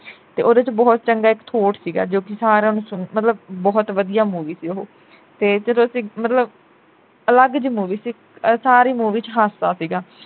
ਤੇ ਓਹਦੇ ਵਿਚ ਬਹੁਤ ਚੰਗਾ ਇਕ thought ਸੀਗਾ ਜੋ ਕਿ ਸਾਰਿਆਂ ਨੂੰ ਮਤਲਬ ਬਹੁਤ ਵਧੀਆ movie ਸੀ ਉਹ ਤੇ ਜਦੋਂ ਅਸੀਂ ਮਤਲਬ ਅਲੱਗ ਜੀ movie ਸੀ ਸਾਰੀ movie ਵਿਚ ਹਾਸਾ ਸੀਗਾ।